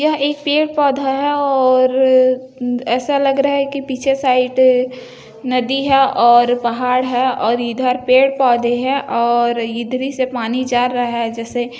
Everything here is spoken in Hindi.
यह एक पेड़ पोधा है और अ ऐसा लग रहा है की पीछे साइड अ-नदी है और पहाड है और इधर पेड़ पोधे है और इधरी से पानी जा रहा है जैसे --